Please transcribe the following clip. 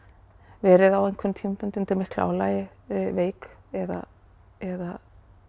verið á einhverjum tímapunkti undir miklu álagi veik eða eða